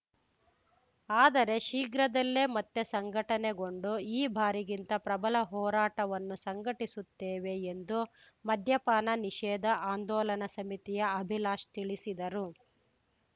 ಆದರೆ ಶೀಘ್ರದಲ್ಲೇ ಮತ್ತೆ ಸಂಘಟನೆಗೊಂಡು ಈ ಬಾರಿಗಿಂತ ಪ್ರಬಲ ಹೋರಾಟವನ್ನು ಸಂಘಟಿಸುತ್ತೇವೆ ಎಂದು ಮದ್ಯಪಾನ ನಿಷೇಧ ಆಂದೋಲನ ಸಮಿತಿಯ ಅಭಿಲಾಶ್‌ ತಿಳಿಸಿದರು